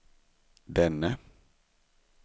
denne